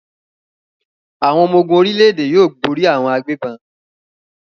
Àwọn ọmọ-ogun orílẹ̀-èdè yóò borí àwọn agbégbọn.